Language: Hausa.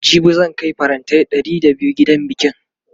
jibi zan Kai farantai Ɗari da biyu gidan bikin